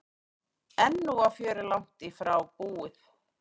En nú var fjörið langt í frá búið.